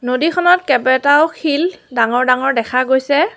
নদীখনত কেইবাটাও শিল ডাঙৰ ডাঙৰ দেখা গৈছে।